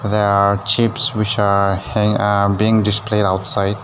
There are chips which are hang uh being displayed outside.